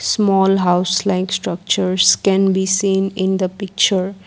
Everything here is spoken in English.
small house like structures can be seen in the picture.